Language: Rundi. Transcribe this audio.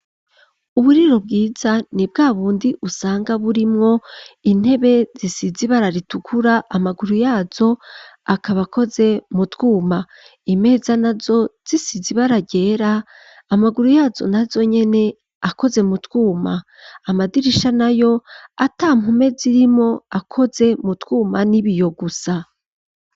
Uburiro bwiza ni bwabundi usanga burimwo intebe zisize ibara ritukura, amaguru yazo akaba akoze mu twuma, imeza nazo zisize ibara ryera, amaguru yazo nazo nyene akoze mu twuma, amadirisha nayo atampome zirimwo, akoze mu twuma n'ibiyo gusa.